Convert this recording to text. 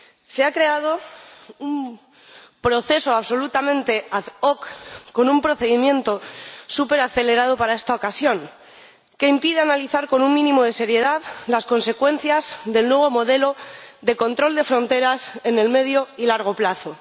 Se ha creado un proceso absolutamente ad hoc con un procedimiento superacelerado para esta ocasión, que impide analizar con un mínimo de seriedad las consecuencias del nuevo modelo de control de fronteras en el medio y largo plazo.